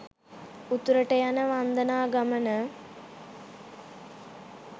උතුරට යන වන්දනා ගමන